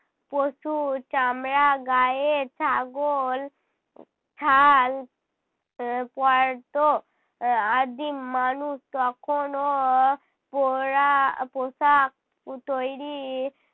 পশুর চামড়া গায়ে ছাগল ছাল এর পরতো। আহ আদিম মানুষ তখনও পরা পোশাক পু তৈরী